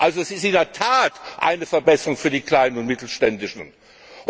Also es ist in der Tat eine Verbesserung für die kleinen und mittelständischen Unternehmen.